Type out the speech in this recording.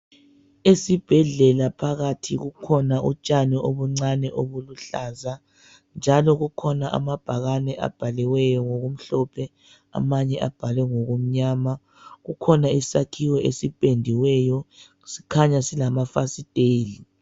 Esibhedlela phakathi kukhona untshani obuncani obubuhlaza njalo kukhona amabhakani abhaliweyo ngokumhlophe amanye abhalwe ngokumnyama kukhona isakhiwo esipendiweyo sikhaya silamafastela